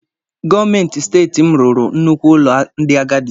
Gọọmenti steeti m rụrụ nnukwu ụlọ ndị agadi.